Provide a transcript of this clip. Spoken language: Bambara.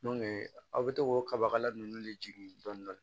aw bɛ to k'o kaba kala nunnu de jigin dɔni dɔni